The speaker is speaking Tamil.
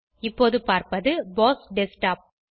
இப்போது பார்ப்பது போஸ் டெஸ்க்டாப்